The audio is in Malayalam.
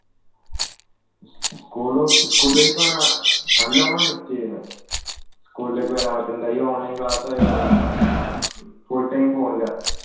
school school നല്ലോണം ചെയ്യുന്നേ school വരൻ ഈ online class ആയോണ്ട് full time phone ല